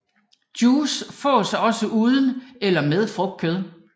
Juice fås også uden eller med frugtkød